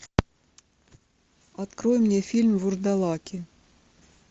открой мне фильм вурдалаки